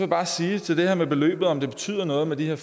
bare sige til det her med beløbet og om det betyder noget med de her